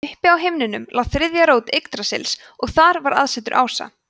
uppi á himnum lá þriðja rót yggdrasils og þar var aðsetur ása